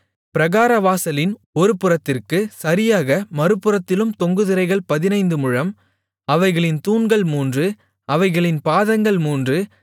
பிராகாரவாசலின் ஒருபுறத்திற்குச் சரியாக மறுபுறத்திலும் தொங்கு திரைகள் பதினைந்து முழம் அவைகளின் தூண்கள் மூன்று அவைகளின் பாதங்கள் மூன்று